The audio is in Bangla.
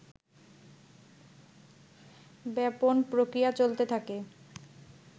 ব্যাপন প্রক্রিয়া চলতে থাকে